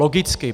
Logicky.